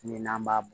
Min n'an b'a